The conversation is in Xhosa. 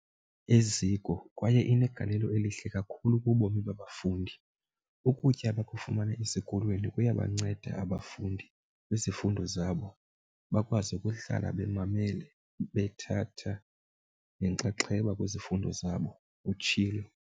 "eziko kwaye inegalelo elihle kakhulu kubomi babafundi. Ukutya abakufumana esikolweni kuyabanceda abafundi kwizifundo zabo, bakwazi ukuhlala bemamele bethatha nenxaxheba kwizifundo zabo," utshilo.